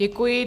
Děkuji.